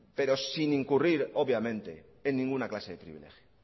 pero sin incurrir obviamente en ninguna clase de privilegio